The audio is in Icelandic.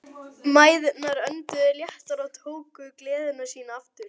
Mæðurnar önduðu léttar og tóku gleði sína aftur.